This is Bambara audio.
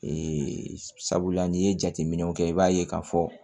sabula n'i ye jateminɛw kɛ i b'a ye k'a fɔ